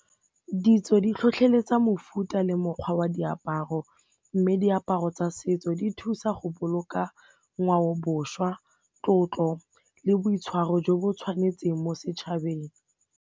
Ditso di tlhotlheletsa mofuta le mokgwa wa diaparo mme diaparo tsa setso di thusa go boloka ngwaoboswa, tlotlo le boitshwaro jo bo tshwanetseng mo setšhabeng.